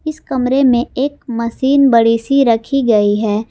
इस कमरे में एक मशीन बड़ी सी रखी गई है।